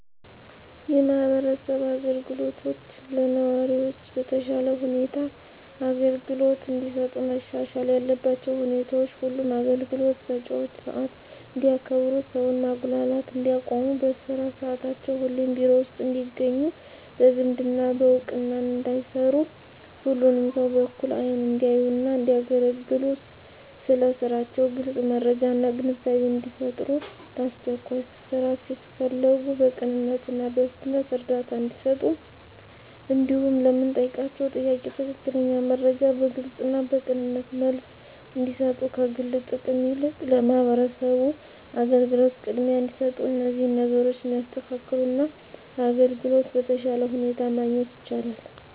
የማህበረሰብ አገልግሎቶች ለነዋሪዎች በተሻለ ሁኔታ አገልግሎት እንዲሰጡ መሻሻል ያለባቸው ሁኔታዎች ሁሉም አገልግሎት ሰጭዎች ሰዓት እንዲያከብሩ ሰውን ማጉላላት እንዲያቆሙ በስራ ሰዓታቸው ሁሌም ቢሮ ውስጥ እንዲገኙ በዝምድና በእውቅና እንዳይሰሩ ሁሉንም ሰው በእኩል አይን እንዲያዩና እንዲያገለግሉ ስለ ስራቸው ግልጽ መረጃና ግንዛቤን እንዲፈጥሩ ለአስቸኳይ ስራ ሲፈለጉ በቅንነትና በፍጥነት እርዳታ እንዲሰጡ እንዲሁም ለምንጠይቃቸው ጥያቄ ትክክለኛ መረጃ በግልጽና በቅንነት መልስ እንዲሰጡ ከግል ጥቅም ይልቅ ለማህበረሰቡ አገልግሎት ቅድሚያ እንዲሰጡ እነዚህን ነገሮች ቢያስተካክሉ አገልግሎት በተሻለ ሁኔታ ማግኘት ይቻላል።